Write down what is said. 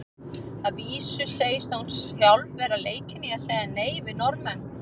Að vísu segist hún sjálf vera leikin í að segja nei við Norðmenn.